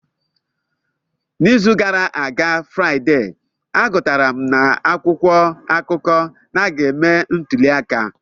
N'izu gara aga Fraide, agụtara m n'akwụkwọ akụkọ na a ga-eme ntuli aka.